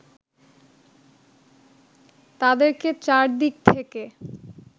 তাদেরকে চারদিক থেকে